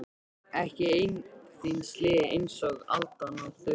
Ekki einn þíns liðs einsog aldan á þurru landi.